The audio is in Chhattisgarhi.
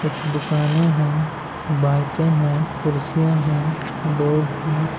कुछ दुकाने है बाइके है कुर्सियाँ है लोग हैं।